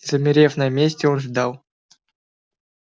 замерев на месте он ждал